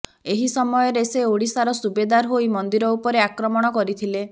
ଏହି ସମୟରେ ସେ ଓଡ଼ିଶାର ସୁବେଦାର ହୋଇ ମନ୍ଦିର ଉପରେ ଆକ୍ରମଣ କରିଥିଲେ